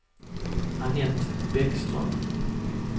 Annette Bäckström